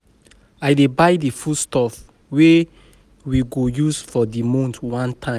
I dey buy di food stuff wey we go use for di month one time.